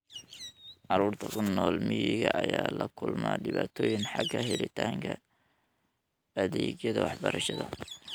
Carruurta ku nool miyiga ayaa la kulma dhibaatooyin xagga helitaanka adeegyada waxbarashada.